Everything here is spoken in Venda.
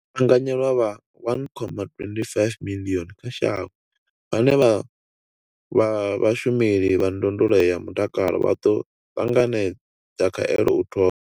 Vhaanganyelwa vha 1.25 miḽioni kha shango vhane vha vha vhashumeli vha ndondolo ya mutakalo vha ḓo ṱanganedza khaelo u thoma.